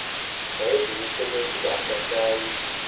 wayezimisele ukuba akasayi